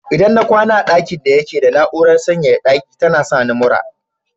Idan na kwana a dakin daya yake da na'urar sanyaya daki tana sani mura.